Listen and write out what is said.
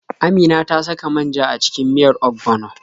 Amina ta saka man ja a cikin miyar ogbono.